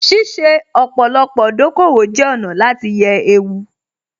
Ṣíṣe ọ̀pọ̀lọpọ̀ dòkòwò jẹ́ ọ̀nà láti yẹ ewu